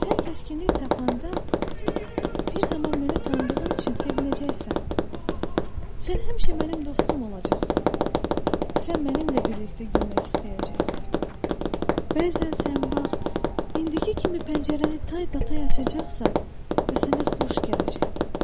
Sən təskinlik tapanda, bir zaman məni tanıdığın üçün sevinəcəksən, sən həmişə mənim dostum olacaqsan, sən mənimlə birlikdə gülmək istəyəcəksən, bəzən sən bax, indiki kimi pəncərəni taybatay açacaqsan və sənə xoş gələcək.